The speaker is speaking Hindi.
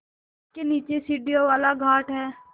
जिसके नीचे सीढ़ियों वाला घाट है